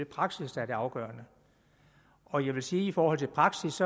praksis der er det afgørende og jeg vil sige at i forhold til praksis